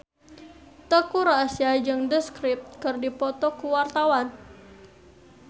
Teuku Rassya jeung The Script keur dipoto ku wartawan